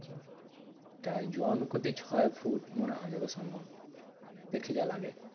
সেটাই জন পতি ছয় ফুট মনে হয় যত সম্ভব, দেখে যা লাগে।